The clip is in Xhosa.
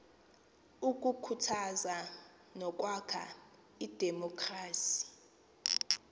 ukukhuthaza nokwakha idemokhrasi